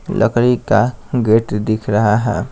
लकड़ी का गेट दिख रहा है।